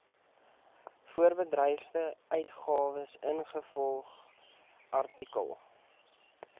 voorbedryfsuitgawes ingevolge artikel